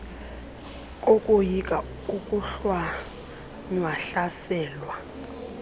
kokoyika ukohlwaywa hlaselwa